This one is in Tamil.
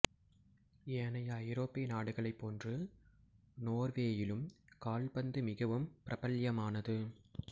ஏனைய ஐரோப்பிய நாடுகளைப் போன்று நோர்வேயிலும் கால்பந்து மிகவும் பிரபல்யமானது